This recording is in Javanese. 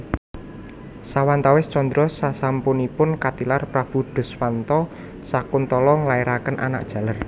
Sawatawis candra sasampunipun katilar Prabu Duswanta Sakuntala nglairaken anak jaler